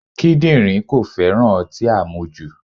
Kídírìn kò féràn ọtí àmujù.